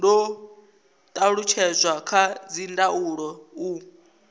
do talutshedzwa kha dzindaulo u